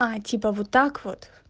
а типа вот так вот